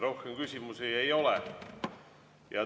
Rohkem küsimusi ei ole.